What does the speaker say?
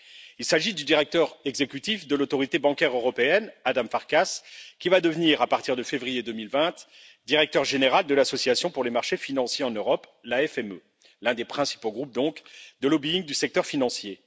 Il s'agit du directeur exécutif de l'Autorité bancaire européenne, Ádám Farkas, qui va devenir, à partir de février 2020, directeur général de l'Association pour les marchés financiers en Europe l'un des principaux groupes de lobbying du secteur financier.